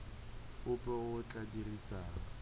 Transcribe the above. ope yo o tla dirisang